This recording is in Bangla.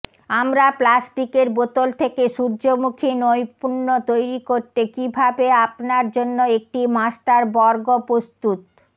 আমরা প্লাস্টিকের বোতল থেকে সূর্যমুখী নৈপুণ্য তৈরি করতে কিভাবে আপনার জন্য একটি মাস্টার বর্গ প্রস্তুত